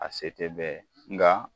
A se tɛ bɛɛ ye nga